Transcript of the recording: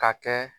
Ka kɛ